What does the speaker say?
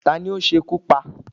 Ta ní o sekú pá?